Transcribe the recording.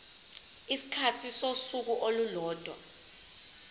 isikhathi sosuku olulodwa